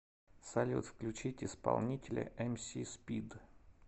салют включить исполнителя эмсиспид